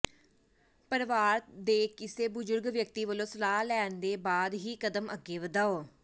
ਪਰਵਾਰ ਦੇ ਕਿਸੇ ਬੁਜੁਰਗ ਵਿਅਕਤੀ ਵਲੋਂ ਸਲਾਹ ਲੈਣ ਦੇ ਬਾਅਦ ਹੀ ਕਦਮ ਅੱਗੇ ਵਧਾਓ